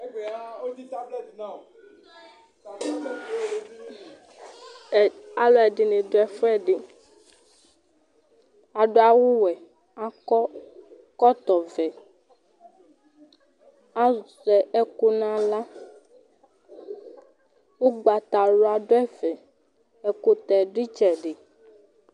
Ɛ alʋɛdɩnɩ dʋ ɛfʋɛdɩ Adʋ awʋwɛ, akɔ ɛkɔtɔvɛ Azɛ ɛkʋ nʋ aɣla Ʋgbatawla dʋ ɛfɛ, ɛkʋtɛ dʋ ɩtsɛdɩ